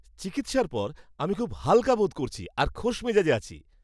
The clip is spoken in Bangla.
চিকিৎসার পর, আমি খুব হালকা বোধ করছি আর খোশমেজাজে আছি।